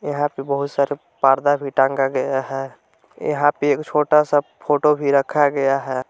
यहां पे बहुत से पर्दा भी टांगा गया है यहां पे एक छोटा सा फोटो भी रखा गया है।